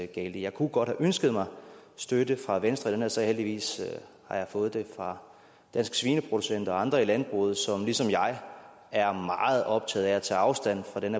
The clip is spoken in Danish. galt i jeg kunne godt have ønsket mig støtte fra venstre i den her sag heldigvis har jeg fået det fra danske svineproducenter og andre i landbruget som ligesom jeg er meget optaget af at tage afstand fra den